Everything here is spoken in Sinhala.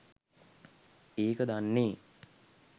ඒක දන්නේ